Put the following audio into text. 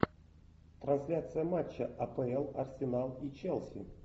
трансляция матча апл арсенал и челси